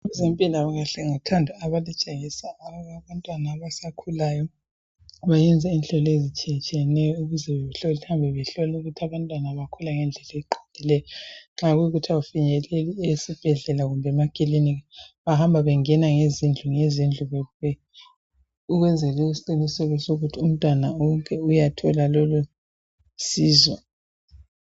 Impilakahle ngothando abalitshengisa abantwana abakhulayo bayenza inhlolo ezitshiyatshiyeneyo behambe behlola ukuthi abantwana bakhula ngendlela eqondileyo. Nxa ungafinyeleli ukuya esibhedlela kumbe emaklinika bahamba bengena ngezindlu ngezindlu besenza isiqiniseko sokuthi umntwana wonke uyathola usizo.